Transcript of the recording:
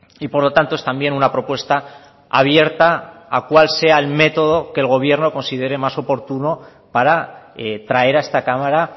y por lo tanto es también una propuesta abierta a cuál sea el método que el gobierno considere más oportuno para traer a esta cámara